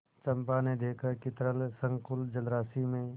चंपा ने देखा कि तरल संकुल जलराशि में